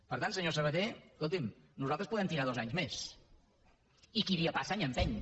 per tant senyor sabaté escolti’m nosaltres podem tirar dos anys més i qui dia passa any empeny